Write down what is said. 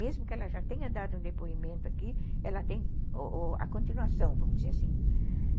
Mesmo que ela já tenha dado um depoimento aqui, ela tem o o a continuação, vamos dizer assim.